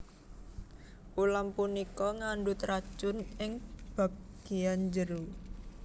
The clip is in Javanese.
Ulam punika ngandhut racun ing bagéyan jero